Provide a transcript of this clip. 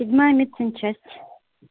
седьмая медсанчасть